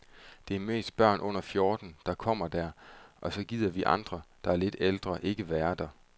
Det er mest børn under fjorten, der kommer der, og så gider vi andre, der er lidt ældre, ikke være der.